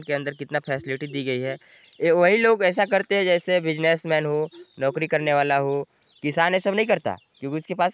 इसके अंदर कितना फ़ैसलिटी दी गई हैं ये वही लोग ऐसा करता हैं जैसे कोई बिसनेसमैन हो नौकरी करने वाला हो किशान ऐसा नई करता क्योंकि उसके पास--